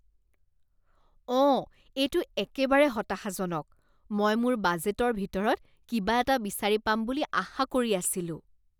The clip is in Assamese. অঁ, এইটো একেবাৰে হতাশাজনক। মই মোৰ বাজেটৰ ভিতৰত কিবা এটা বিচাৰি পাম বুলি আশা কৰি আছিলোঁ।